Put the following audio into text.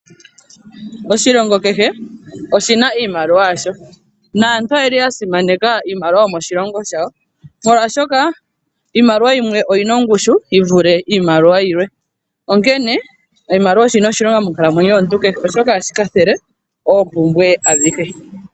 Oshilongo kehe oshina iimaliwa yasho, naantu oyeli ya simaneka iimaliwa yomoshilongo shawo, molwaashoka iimaliwa yimwe oyina ongushu yi vule iimaliwa yilwe, onkene oshimaliwa oshina oshilonga monkalamwenyo yomuntu kehe, oshoka ohashi kwathele oompumbwe adhihe.